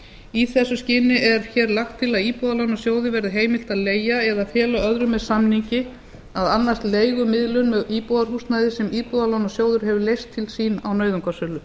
í þessu skyni er hér lagt til að íbúðalánasjóði verði heimilt að leigja eða fela öðrum með samningi að annast leigumiðlun með íbúðarhúsnæði sem íbúðalánasjóður hefur leyst til sín á nauðungarsölu